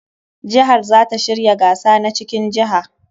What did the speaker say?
Jihar za ta shirya gasa na cikin jiha.